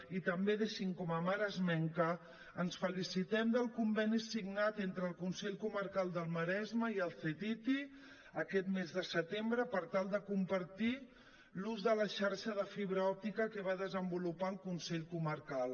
i també deixin me com a maresmenca que ens felicitem del conveni signat entre el consell comarcal del maresme i el ctti aquest mes de setembre per tal de compartir l’ús de la xarxa de fibra òptica que va desenvolupar el consell comarcal